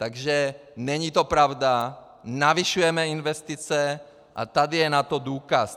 Takže není to pravda, zvyšujeme investice a tady je na to důkaz.